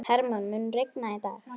Hermann, mun rigna í dag?